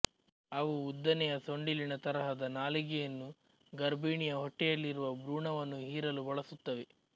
ಅವು ಉದ್ದನೆಯ ಸೊಂಡಿಲಿನ ತರಹದ ನಾಲಿಗೆಯನ್ನು ಗರ್ಭಿಣಿಯ ಹೊಟ್ಟೆಯಲ್ಲಿರುವ ಭ್ರೂಣವನ್ನು ಹೀರಲು ಬಳಸುತ್ತವೆ